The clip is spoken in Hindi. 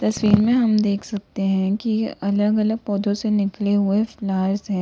सीन में हम देख सकते है कि अलग अलग पौधों से निकले हुए फ्लॉवर्स है।